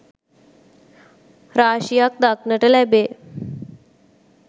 රාශියක් දක්නට ලැබේ.